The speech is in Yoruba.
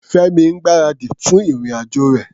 Fẹ́mi ń gbáradì fún ìrìn-àjò rẹ̀.